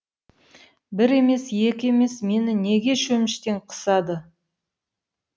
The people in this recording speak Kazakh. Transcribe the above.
бір емес екі емес мені неге шөміштен қысады